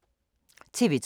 TV 2